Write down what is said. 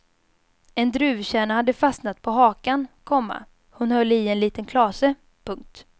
En druvkärna hade fastnat på hakan, komma hon höll i en liten klase. punkt